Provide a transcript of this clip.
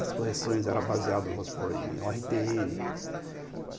As correções eram baseadas em o erre tê ene